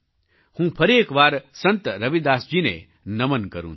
હું ફરી એક વાર સંત રવિદાસજીને નમન કરું છું